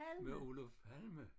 Med Olof Palme